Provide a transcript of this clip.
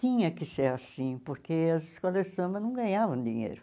Tinha que ser assim, porque as escolas de samba não ganhavam dinheiro.